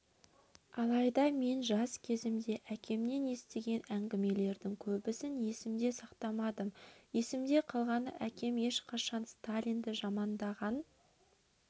алайда мен жас кезімде әкемнен естіген әңгімелердің көбісін есімде сақтамадым есімде қалғаны әкем ешқашан сталинды жамандаған